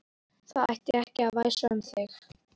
Það ætti ekki að væsa um þig.